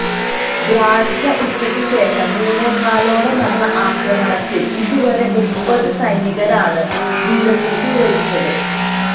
വ്യാഴാഴ്ച ഉച്ചയ്ക്കു ശേഷം മൂന്നേകാലോടെ നടന്ന ആക്രമണത്തില് ഇതുവരെ മുപ്പത് സൈനികരാണ് വീരമൃത്യു വരിച്ചത്